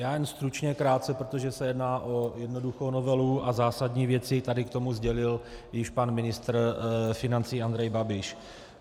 Já jen stručně, krátce, protože se jedná o jednoduchou novelu a zásadní věci tady k tomu sdělil již pan ministr financí Andrej Babiš.